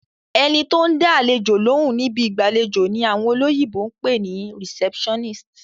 Ẹni tó bá ń dá àlejò lóhùn ni ibi ìgbàlejò ni àwọn olóyìnbó pè ní receptionist.